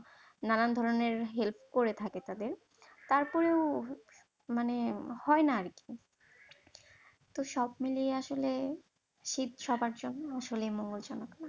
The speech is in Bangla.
নানান ধরনের help করে থাকে তাদের, তারপরও মানে হয় না আর কি, তো সব মিলিয়ে আসলে শীত সবার জন্য আসলে মঙ্গল জনক না